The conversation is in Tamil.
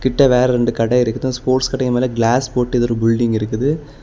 கிட்ட வேற ரெண்டு கடை இருக்குது அந்த ஸ்போர்ட்ஸ் கடைக்கு மேல கிளாஸ் போட்டு ஏதோ ஒரு பில்டிங் இருக்குது.